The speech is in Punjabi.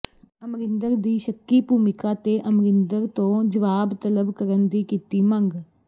ਅਮਰਿੰਦਰ ਦੀ ਸ਼ੱਕੀ ਭੂਮਿਕਾ ਤੇ ਅਮਰਿੰਦਰ ਤੋਂ ਜਵਾਬ ਤਲਬ ਕਰਨ ਦੀ ਵੀ ਕੀਤੀ ਮੰਗ